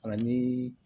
Ani